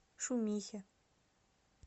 шумихе